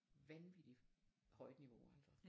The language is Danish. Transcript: Vanvittigt højt niveau altså